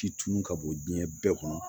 Ci tun ka bon diɲɛ bɛɛ kɔnɔ